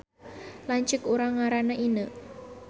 Lanceuk urang ngaranna Ineu